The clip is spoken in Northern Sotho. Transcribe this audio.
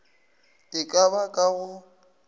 e ka ba ka go